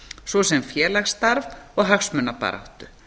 svo sem félagsstarf og hagsmunabaráttu